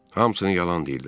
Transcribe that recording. Hamısını yalan deyirlər.